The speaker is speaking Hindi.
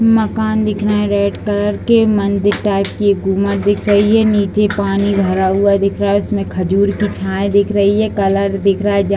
मकान दिख रहे हैं। रेड कलर के मंदिर टाईप की एक गुम्बज दिख रही है। नीचे पानी भरा हुआ दिख रहा है। उसमें खजूर की छाया दिख रही है। कलर दिख रहा है। जहाँ --